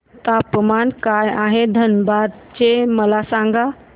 तापमान काय आहे धनबाद चे मला सांगा